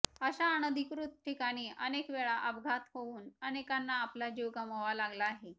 अशा अनधिकृत ठिकाणी अनेक वेळा अपघात होऊन अनेकांना आपला जीव गमवावा लागला आहे